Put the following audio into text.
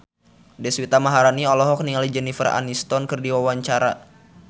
Deswita Maharani olohok ningali Jennifer Aniston keur diwawancara